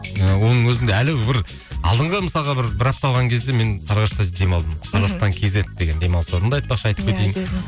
ы оның өзінде әлі бір алдыңғы мысалға бір бір апта алған кезде мен сарыағашта демалдым қазақстан кейзет деген демалыс орын бар айтпақшы айтып кетейін